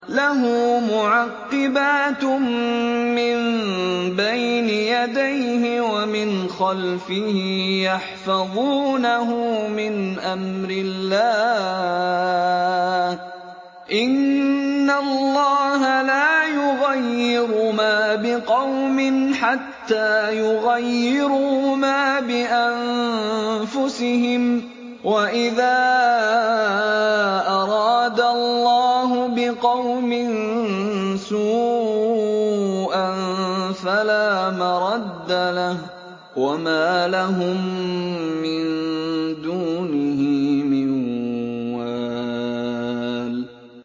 لَهُ مُعَقِّبَاتٌ مِّن بَيْنِ يَدَيْهِ وَمِنْ خَلْفِهِ يَحْفَظُونَهُ مِنْ أَمْرِ اللَّهِ ۗ إِنَّ اللَّهَ لَا يُغَيِّرُ مَا بِقَوْمٍ حَتَّىٰ يُغَيِّرُوا مَا بِأَنفُسِهِمْ ۗ وَإِذَا أَرَادَ اللَّهُ بِقَوْمٍ سُوءًا فَلَا مَرَدَّ لَهُ ۚ وَمَا لَهُم مِّن دُونِهِ مِن وَالٍ